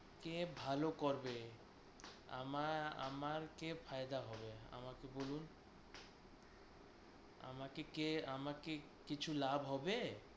কে ভালো করবে? আমা~ আমার কে ফায়দা হবে আমাকে বলুন। আমাকে কে আমাকে কে কিছু লাভ হবে?